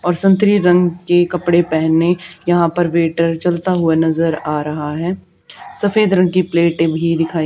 और संतरी रंग के कपड़े पहने यहां पे वेटर चलता हुआ नजर आ रहा है सफेद रंग की प्लेटें भी दिखाई--